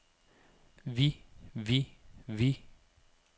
vi vi vi